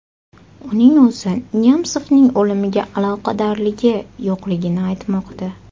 Uning o‘zi Nemsovning o‘limiga aloqadorligi yo‘qligini aytmoqda.